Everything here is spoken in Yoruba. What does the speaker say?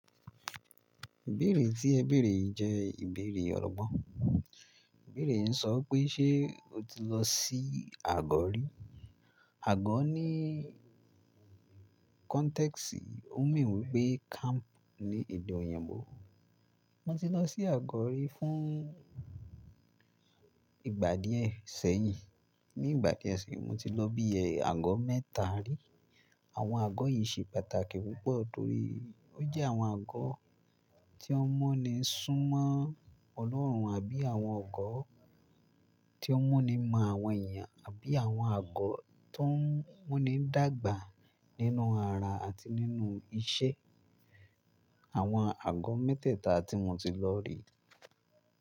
Ìbéèrè tí ẹ béèrè jẹ́ ìbéèrè ọ̀rọ̀gbọ́n. Ìbéèrè ń sọ pé ṣe o ti lọ sí àgọ́ rí? Àgọ́ ní context yìí ó mean wí pé camp ní ede oyinbo. Mo ti lọ sí àgọ́ rí fún ìgbà díẹ̀ sẹ́yìn. Ni ìgbà kẹ́ẹ̀sì, mo ti lọ bí i àgọ́ mẹ́ta rí. Àwọn àgọ́ yìí ṣe pàtàkì púpọ̀ torí ó jẹ́ àwọn àgọ́ tí wọ́n mu ni súnmọ́ Ọlọ́run àbí àwọn àgọ́ tí wọ́n mu ni mọ àwọn èèyàn àbí àwọn àgọ́ tó ń mu ni dàgbà nínú ara àti nínú iṣẹ́. Àwọn àgọ́ mẹ́tẹ̀ẹ̀ta tí mo ti lọ rí.